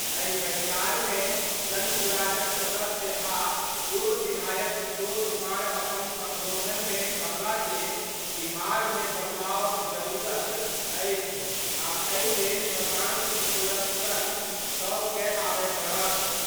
एहि बैसार मे जनसुराज क सदस्य आ पूर्व विधायक किशोर कुमार अपन संबोधन मे कहला जे बिहार मे बदलाव क जरूरत अछि आ एहि लेल प्रशांत किशोर क संग सब कए आबय पड़त।